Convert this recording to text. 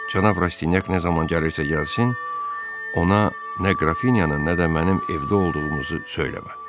Cənab Rastinyak nə zaman gəlirsə gəlsin, ona nə Qrafinyanın, nə də mənim evdə olduğumuzu söyləmə.